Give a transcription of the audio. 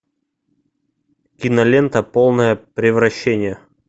кинолента полное превращение